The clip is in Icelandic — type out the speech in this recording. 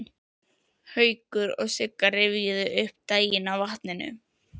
Haukur og Sigga rifjuðu upp daginn á vatninu.